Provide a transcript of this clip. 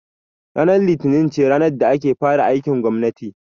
Ranar litini ce ranar da ake fara aikin gwammati